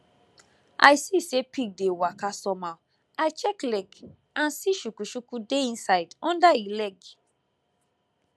i see say pig dey waka somehow i check leg and see chukuchuku dey inside under e leg